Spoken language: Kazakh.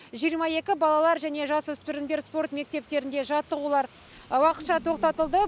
жиырма екі балалар және жасөспірімдер спорт мектептерінде жаттығулар уақытша тоқтатылды